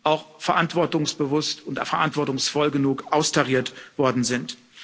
auch verantwortungsbewusst und verantwortungsvoll genug austariert worden sind.